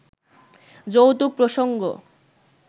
যৌতুক প্রসঙ্গ